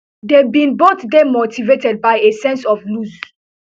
dey bin both dey motivated by a sense of loss